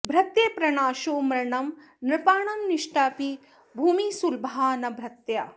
भृत्यप्रणाशो मरणं नृपाणां नष्टापि भूमिः सुलभा न भृत्याः